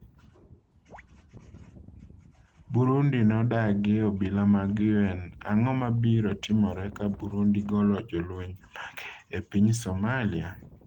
Burundi nodagi obila mag UN Ang'o mabiro timore ka Burundi golo jolweny mage e piny Somalia?